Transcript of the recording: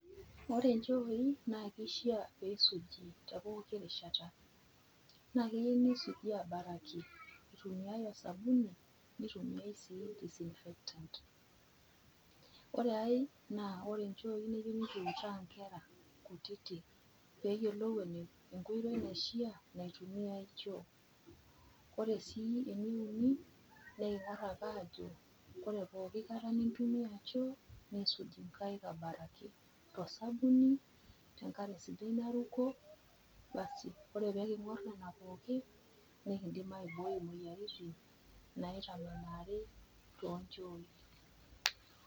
Ore inchoi naa keishaa neisuji te pooki rishata. Naa keyeu neisuji abaraki, eitumiai esabuni neitumiai sii disinfectant. Ore ai naa ore inchoi neyeu nekiutaa inkera kutiti peyolou enkoitoi naishaa eitumia choo Ore sii eneunii neking'as ake ajo, ore pooki kata nintumia choo, nisuj inkaik abaraki nekindim aibooi imoyiaritin tosabuni, tenkare sidai naruko. Ore peking'or nena pookin, nekindim aibooi imoyiaritin naitang'amuni tonchooi.